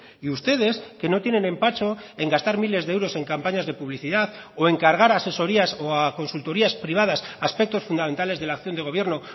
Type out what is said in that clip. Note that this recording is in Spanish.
y ustedes que no tienen empacho en gastar miles de euros en campañas de publicidad o encargar asesorías o a consultorías privadas aspectos fundamentales de la acción de gobierno